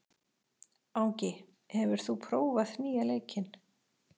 Angi, hefur þú prófað nýja leikinn?